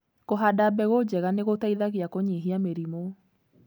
Kũhanda mbegũ njega nĩgũteithagia kũnyihia mĩrimũ.